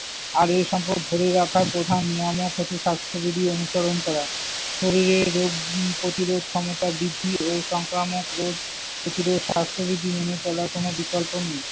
আর এ সম্পদ ধরে রাখার প্রধান নিয়ামক হচ্ছে স্বাস্থ্যবিধি অনুসরণ করা। শরীরে রোগ প্রতিরোধ ক্ষমতা বৃদ্ধি ও সংক্রামক রোগ প্রতিরোধ স্বাস্থ্যবিধি মেনে চলার কোনো বিকল্প নেই।